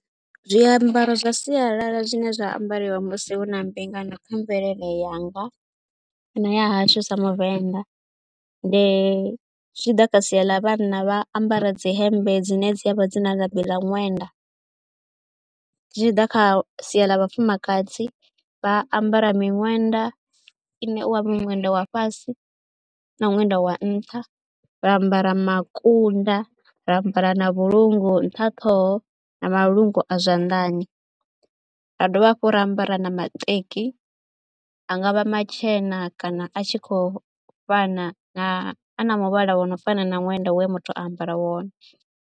Zwiambaro zwa sialala zwine zwa ambariwa musi hu na mbingano kha mvelele yanga kana ya hashu sa muvenḓa ndi, zwi tshi ḓa kha sia ḽa vhanna, vha ambara dzi hembe dzine dza vha dzi na labi ḽa ṅwenda. Zwi tshi ḓa kha sia ḽa vhafumakadzi, vha ambara miṅwenda ine wa miṅwenda wa fhasi na ṅwenda wa nṱha, ra ambara makunda, ra ambara na vhulungu nṱha ṱhoho na malungu a zwanḓani. Ra dovha hafhu ra ambara na maṱeki a nga vha matshena kana a tshi khou fana na a na muvhala wa no fana na ṅwenda we muthu a ambara wone.